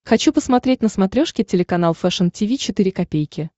хочу посмотреть на смотрешке телеканал фэшн ти ви четыре ка